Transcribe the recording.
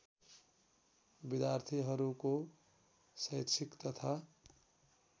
विद्यार्थीहरूको शैक्षिक तथा